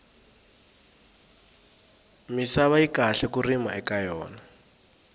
misava yi kahle ku rima eka yona